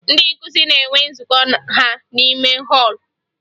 Ndị nkụzi na-enwe nzụkọ ha n'ime họọlụ